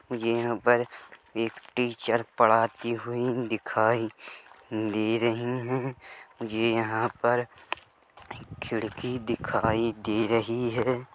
यहाँ पर एक टीचर पढ़ाती हुई दिखाई दे रही है मुझे यहाँ पर खिड़की दिखाई दे रही है।